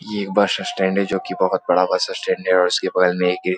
ये एक bus stand है। जो कि बहुत बड़ा बस स्टैंड है और इसके बगल में इर्द-गिर्द --